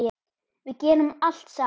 Við gerum allt saman.